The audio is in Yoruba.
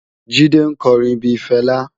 Jide nkò órin bi Fela